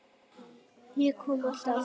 Ég kom alltaf aftur.